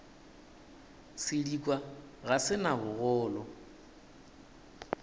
sedikwa ga se na bogolo